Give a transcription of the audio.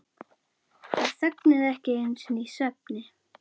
Þær þögnuðu ekki einu sinni í svefni.